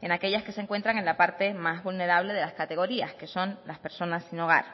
en aquellas que se encuentran en la parte más vulnerable de las categorías que son las personas sin hogar